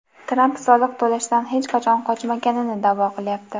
Tramp soliq to‘lashdan hech qachon qochmaganini da’vo qilyapti.